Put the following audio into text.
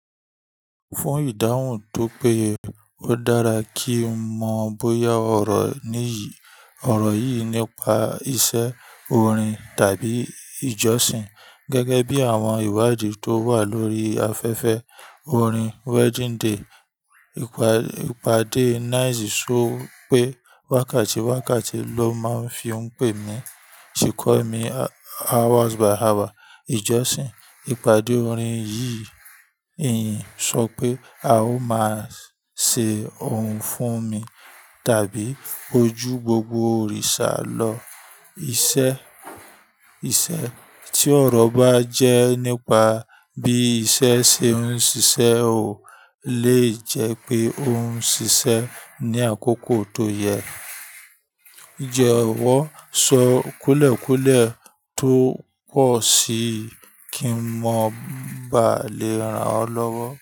Fún ìdáhùn tó péye ó dára kí n mọ bóyá ọ̀rọ̀ níyì, ọ̀rọ̀ yìí nípa iṣẹ́ orin tàbí ìjọsìn gẹ́gẹ́ bí àwọn ìwádìí tó wà lórí afẹ́fẹ́ orin Wedding Day. Ìpàdé Nice sọ pé wákàtí wákàtí ló máa ń fi ń pè mí, ṣhe call me hours by hour. Ìjọsìn, ìpàdé orin yìí, ìyìn sọ pé a ó máa ṣe ohun fún mi tàbí ojú gbogbo òrìṣà lọ. Iṣẹ́, iṣẹ́ tí ọ̀rọ̀ bá jẹ́ nípa bí iṣẹ́ ṣe ń ṣiṣẹ́ ò lè jẹ́ pé ó ń ṣiṣẹ́ ní àkókò tó yẹ. Ìjẹ́wọ́ sọ kúùlẹ̀ kúùlẹ̀ tó pọ̀ sí i kí n mọ̀ bá lè ràn ọ́ lọ́wọ́.